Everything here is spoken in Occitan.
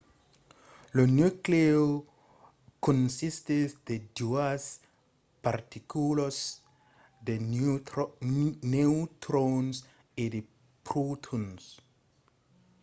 lo nuclèu consistís de doas particulas - de neutrons e de protons